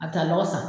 A bɛ taa lɔgɔ san